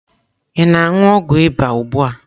Ị na-anu ogwu ịba ugbu a?